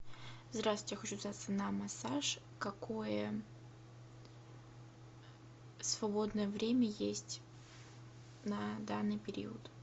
здравствуйте я хочу записаться на массаж какое свободное время есть на данный период